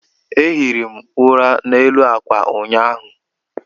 Ehiri m ụla n'elu ákwà ụnyaahụ